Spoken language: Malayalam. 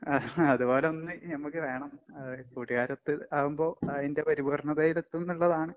അതുപോലൊന്ന് ഞമ്മക്ക് വേണം. അത് കൂട്ടുകാരൊത്ത് ആവുമ്പോ അതിന്റെ പരിപൂർണ്ണതയിലെത്തുംന്നൊള്ളതാണ്.